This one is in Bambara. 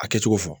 A kɛcogo fɔ